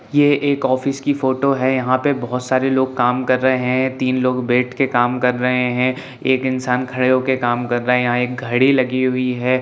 ये एक ऑफिस की फोटो है | यहाँ पे बहुत सारे लोग काम कर रहे हैं तीन लोग बैठ के काम कर रहे हैं एक इंसान खड़े होके काम कर रहे हैं यहाँ एक घड़ी लगी हुई है।